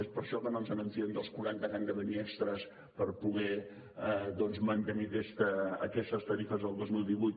és per això que no ens fiem dels quaranta que han de venir extres per poder doncs mantenir aquestes tarifes del dos mil divuit